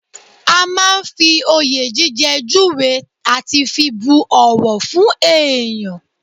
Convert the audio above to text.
A máa ń fi oyè jíjẹ júwe àti fi bu ọ̀wọ̀ fún èèyàn